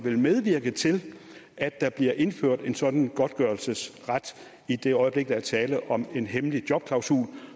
medvirke til at der bliver indført en sådan godtgørelsesret i det øjeblik der er tale om en hemmelig jobklausul